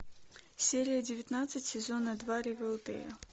серия девятнадцать сезона два ривердэйл